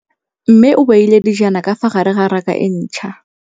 Mmê o beile dijana ka fa gare ga raka e ntšha.